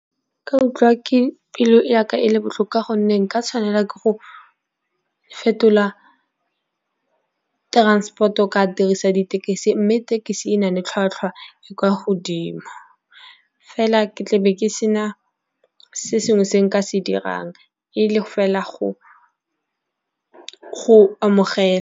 Nka utlwa pelo yaka e le botlhoko gonne nka tshwanela ke go fetola transport-o ka dirisa ditekesi. Mme thekisi e na le tlhwatlhwa e kwa godimo, fela ke tlabe ke sena se sengwe se nka se dirang e fela go amogela.